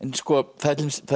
það er